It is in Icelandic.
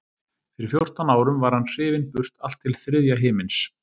Fyrir fjórtán árum var hann hrifinn burt allt til þriðja himins.